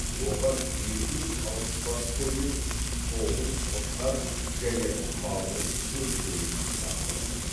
оған екі жүз алпыс бас қой мен тоғыз қошқар және малдың жем шөбін сатып алдым